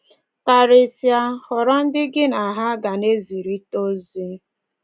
Karịsịa, họrọ ndị gị na ha ga na-ezirịta ozi